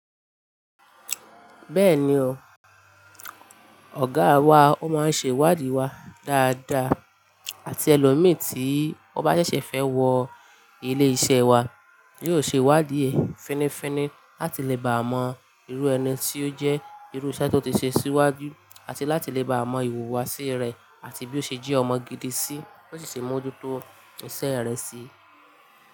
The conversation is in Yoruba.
Bẹ́ẹ̀ni o, ọ̀gáa wa o máa ń ṣe ìwádìí wa dáadáa àti ẹlòmíì tí ó bá ṣẹ̀ṣẹ̀ fẹ́ wọ ilé-iṣẹ́ wa, yóò ṣe ìwádìí fínifíni láti lè bá mọ irú ẹni tí ó jẹ́, irú iṣẹ́ tó ti ṣe síwájú àti láti lè bá mọ ìhùwàsí rẹ̀ àti bí ó ṣe jí ọmọ gidi sí ko sì mú ó dúró tó iṣẹ́ rẹ̀ sí.